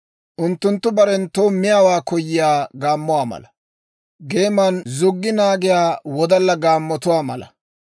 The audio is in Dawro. Unttunttu barenttoo miyaawaa koyiyaa gaammotuwaa mala; geeman zuggi naagiyaa wodalla gaammotuwaa mala.